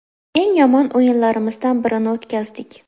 Eng yomon o‘yinlarimizdan birini o‘tkazdik.